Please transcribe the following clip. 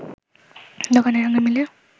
দোকানের সঙ্গে মিলে